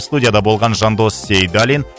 студияда болған жандос сейдалин